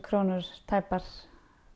krónur tæpar